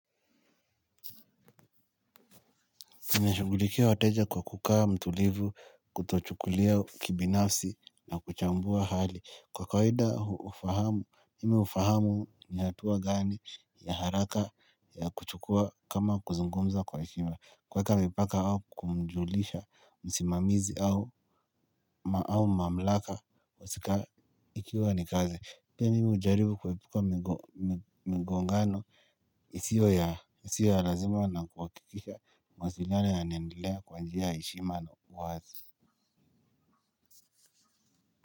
Nimeshugulikia wateja kwa kukaa mtulivu, kutochukulia kibinafsi na kuchambua hali. Kwa kwahida ufahamu, mimiufahamu ni hatua gani ya haraka ya kuchukua kama kuzungumza kwa ekima. Kuweka mipaka au kumjulisha, msimamizi au mamlaka, kwa sika ikiwa nikazi. Pia mimi hujaribu kuepuka magongano, isio ya lazima na kuhakikisha maziara yanaendelea kwa njia ya heshima na uwazi.